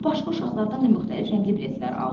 O başqa uşaqlardan da müxtəlif rəngli biletlər aldı.